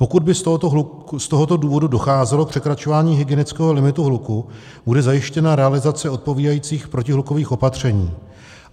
Pokud by z tohoto důvodu docházelo k překračování hygienického limitu hluku, bude zajištěna realizace odpovídajících protihlukových opatření.